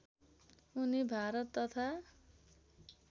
उनी भारत तथा